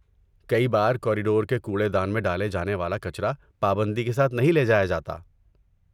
کئی بار، کوریڈور کے کوڑے دان میں ڈالا جانے والا کچرا پابندی کے ساتھ نہیں لے جایا جاتا۔